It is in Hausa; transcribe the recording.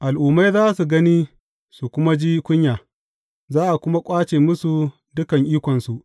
Al’ummai za su gani su kuma ji kunya, za a kuma ƙwace musu dukan ikonsu.